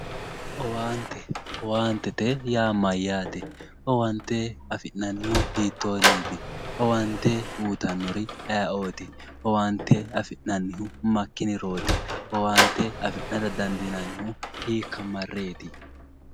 Owaante Yaa mayyaate owaante owaante afi'nannihu hiitoonniiti owaante uytannori ayeooti owaante afi'nannihu maikkinirooti owaante afi'nara dandiinannihu hiikka marreeti